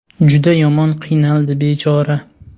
Juda yomon qiynaldi bechora.